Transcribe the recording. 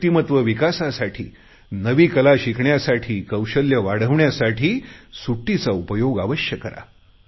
व्यक्तिमत्व विकासासाठी नवी कला शिकण्यासाठी कौशल्य वाढण्यासाठी सुट्टीचा उपयोग अवश्य करा